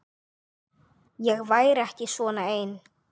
Ég væri ekki svona ein.